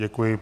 Děkuji.